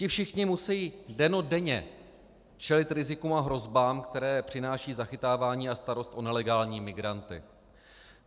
Ti všichni musejí dennodenně čelit rizikům a hrozbám, které přináší zachytávání a starost o nelegální migranty.